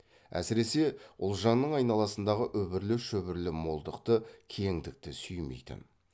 әсіресе ұлжанның айналасындағы үбірлі шүбірлі молдықты кеңдікті сүймейтін